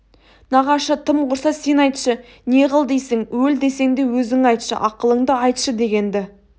нағашы тым құрса сен айтшы не қыл дейсің өл десең де өзің айтшы ақылыңды айтшы деген-ді